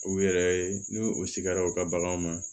U yɛrɛ ye n'u u sigara u ka baganw ma